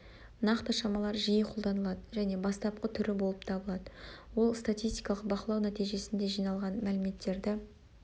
нақты шамалар жиі қолданылады және бастапқы түрі болып табылады ол статистикалық бақылау нәтижесінде жиналған мәліметтерді